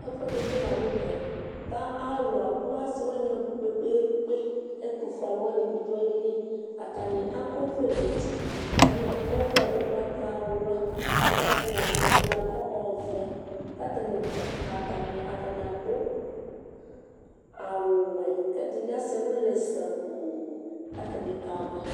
ɛfuɛdi bi lantɛ k'atani abò ase wani abò kpekpekpe ɛtofue alowani bi do ayili atani akɔ ɔvlɛ n'uti ɛdini akɔ ɔvlɛ ugbatawla k'atani ɛdini akɔ ɔvɛ k'atani dza atani ado awu wɛ k'ɛdini asɛ ɛlu lɛ sabu k'atani kala